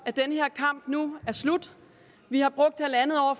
at den her kamp nu er slut vi har brugt halvandet år